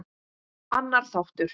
Annar þáttur.